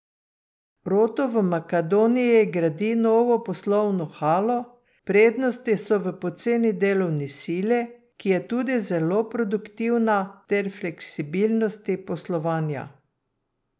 Roto v Makedoniji gradi novo poslovno halo, prednosti so v poceni delovni sili, ki je tudi zelo produktivna, ter fleksibilnosti poslovanja.